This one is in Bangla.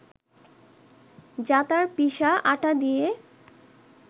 জাঁতার পিষা আটা দিয়ে